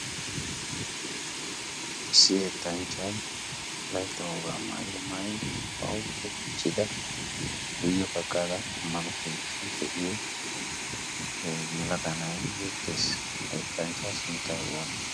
issi ettanchchay laytta howaaa maayyo maini pauce gichchida guyye pakkada ammano peittee te'iyo e yilakanai eettees. heettanchchaa sunttay oonee?